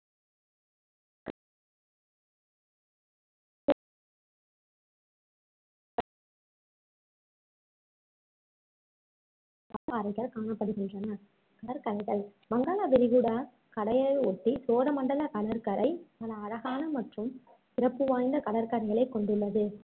பவளப்பாறைகள் காணப்படுகின்றன கடற்கரைகள் வங்காள விரிகுடா கடலையொட்டி சோழமண்டலக் கடற்கரை பல அழகான மற்றும் சிறப்பு வாய்ந்த கடற்கரைகளைக் கொண்டுள்ளது